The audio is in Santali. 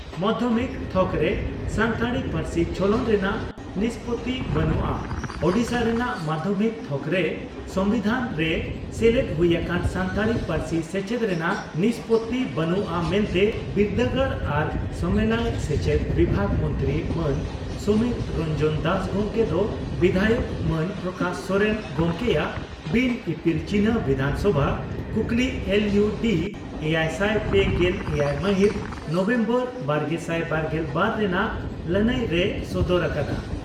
ᱢᱟᱫᱷᱭᱚᱢᱤᱠ ᱛᱷᱚᱠᱨᱮ ᱥᱟᱱᱛᱟᱲᱤ ᱯᱟᱹᱨᱥᱤ ᱪᱚᱞᱚᱱ ᱨᱮᱱᱟᱜ ᱱᱤᱥᱯᱳᱛᱤ ᱵᱟᱹᱱᱩᱜᱼᱟ ᱳᱰᱤᱥᱟ ᱨᱮᱱᱟᱜ ᱢᱟᱫᱷᱭᱚᱢᱤᱠ ᱛᱦᱚᱠᱨᱮ ᱥᱚᱢᱵᱤᱫᱷᱟᱱ ᱨᱮ ᱥᱮᱞᱮᱫ ᱦᱩᱭ ᱟᱠᱟᱱ ᱥᱟᱱᱛᱟᱲᱤ ᱯᱟᱹᱨᱥᱤ ᱥᱮᱪᱮᱫ ᱨᱮᱱᱟᱜ ᱱᱤᱥᱯᱳᱛᱤ ᱵᱟᱹᱱᱩᱜᱼᱟ ᱢᱮᱱᱛᱮ ᱵᱤᱨᱫᱟᱹᱜᱟᱲ ᱟᱨ ᱥᱟᱢᱮᱞᱟᱭ ᱥᱮᱪᱮᱫ ᱵᱤᱵᱷᱟᱜ ᱢᱚᱱᱛᱨᱤ ᱢᱟᱱ ᱥᱚᱢᱤᱨ ᱨᱚᱱᱡᱚᱱ ᱫᱟᱥ ᱜᱚᱢᱠᱮ ᱫᱚ ᱵᱤᱫᱷᱟᱭᱚᱠ ᱢᱟᱱ ᱯᱨᱚᱠᱟᱥ ᱥᱚᱥᱨᱮᱱ ᱜᱚᱢᱠᱮᱭᱟᱜ ᱵᱤᱱ ᱤᱯᱤᱞ ᱪᱤᱱᱦᱟᱹ ᱵᱤᱫᱷᱟᱱᱥᱚᱵᱷᱟ ᱠᱩᱠᱞᱤ ᱮᱞ ᱤᱭᱩ ᱰᱤ ᱮᱭᱟᱭᱥᱟᱭ ᱯᱮᱜᱮᱞ ᱮᱭᱟᱭ ᱢᱟᱦᱤᱛ ᱱᱚᱵᱷᱮᱢᱵᱚᱨ ᱵᱟᱨᱜᱮᱥᱟᱭ ᱵᱟᱨᱜᱮᱞ ᱵᱟᱨ ᱨᱮᱱᱟᱜ ᱞᱟᱹᱱᱟᱹᱭ ᱨᱮᱭ ᱥᱚᱫᱚᱨ ᱟᱠᱟᱫᱼᱟ ᱾